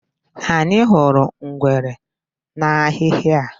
Anyị hụrụ ngwere n'ahịhị a.